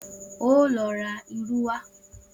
O óò lo̩ ra irú wá!